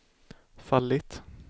fallit